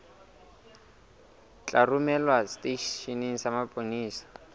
tla romelwa seteisheneng sa mapolesa